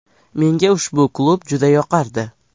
Menga ushbu klub juda yoqardi.